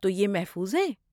تو، یہ محفوظ ہے۔